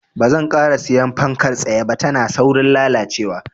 Banzan ƙara siyan fankar tsaye ba, tana saurin lalacewa.